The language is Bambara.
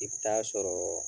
I b taa sɔrɔɔ